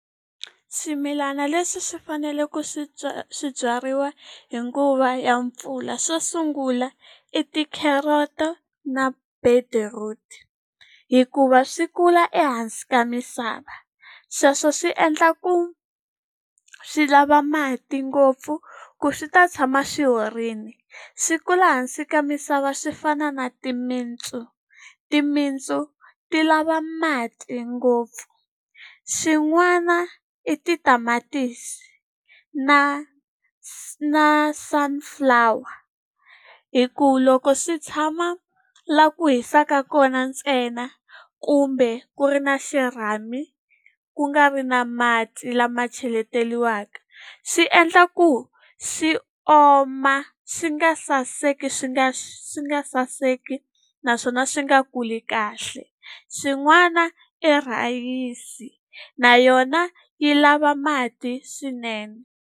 Swimilana leswi swi faneleke ku swi swi byariwa hi nguva ya mpfula swo sungula i ti-carrots-o na beetroot. Hikuva swi kula ehansi ka misava. Sweswo swi endla ku swi lava mati ngopfu ku swi ta tshama swi horile. Swi kula hansi ka misava swi fana na timintsu, timintsu ti lava mati ngopfu. Xin'wana i titamatisi na na sunflower hikuva loko swi tshama laha ku hisaka kona ntsena, kumbe ku ri na xirhami, ku nga ri na mati lama cheletiwaka, swi endla ku swi oma swi nga saseki swi nga swi nga saseki naswona swi nga kuli kahle. Swin'wana i rhayisi, na yona yi lava mati swinene.